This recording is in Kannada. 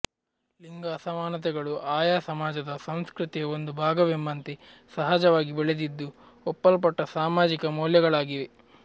ಲಿಂಗ ಅಸಮಾನತೆಗಳು ಆಯಾ ಸಮಾಜದ ಸಂಸ್ಕೃತಿಯ ಒಂದು ಭಾಗವೆಂಬಂತೆ ಸಹಜವಾಗಿ ಬೆಳೆದಿದ್ದು ಒಪ್ಪಲ್ಪಟ್ಟ ಸಾಮಾಜಿಕ ಮೌಲ್ಯಗಳಾಗಿವೆ